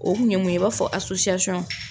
O kun ye mun, i b'a fɔ asosisiɔn.